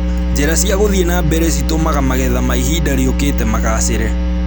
Njĩra cia gũthiĩ na mbere citũmaga magetha ma ihinda rĩũkĩte magacĩre